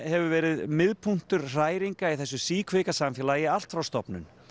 hefur verið miðpunktur hræringa í þessu síkvika samfélagi allt frá stofnun